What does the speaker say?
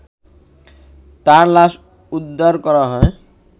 তার লাশ উদ্ধার করা হয়